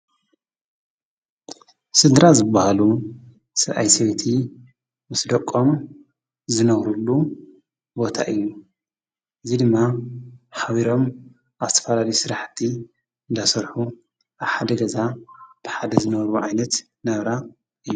ስድራ ዝባሃሉ ሰብኣይ፣ ሰበይቲ ምስ ደቆም ዝነብርሉ ቦታ እዩ። እዚ ድማ ሓቢሮም ኣብ ዝተፈላለዩ ስራሕቲ እንዳሰርሑ ኣብ ሓደ ገዛ ብሓደ ዝነብሩ ዓይነት ናብራ እዮ።